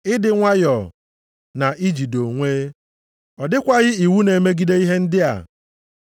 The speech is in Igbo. ịdị nwayọọ, na ijide onwe. Ọ dịkwaghị iwu na-emegide ihe ndị a.